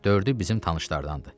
Dördü bizim tanışlardandır.